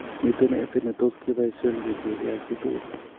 Miten eng'set ne tot kebaishen kotiengei ak ak chitugul